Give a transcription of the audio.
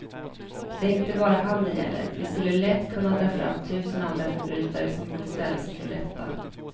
Det är inte bara han det gäller, vi skulle lätt kunna dra fram tusen andra förbrytare som borde ställas inför rätta.